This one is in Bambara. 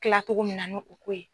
kila cogo min na nu o ko ye.